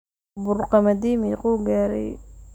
bur qamadi mequu garay